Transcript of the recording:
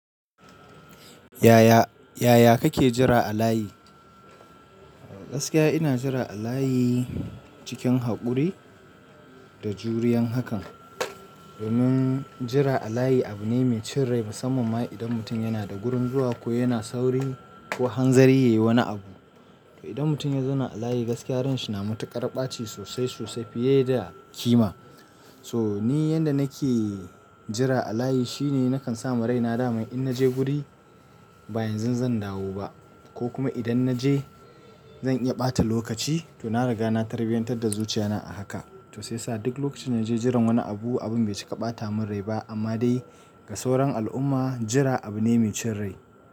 Yaya, yaya kake jira a layi? Gaskiya ina jira a layi cikin haƙuri da juriyan hakan. Domin jira a layi abu ne mai cin rai musamman ma idan mutum yana da gurin zuwa ko yana sauri ko hanzari yayi wani abu. To idan mutum ya zauna a layi gaskiya ransa yana matuƙar ɓaci sosai sosai fiye da kima. So ni yanda nake jira a layi shine nakan sa ma raina dami in naje guri ba yanzu zan dawo ba ko kuma idan naje zan iya ɓata lokaci to na riga na tarbiyantar da zuciyana a haka. To sai sa duk lokacin naje jiran wani abu, abun bai cika ɓata mun rai ba amma dai ga sauran al'umma jira abu ne mai cin rai.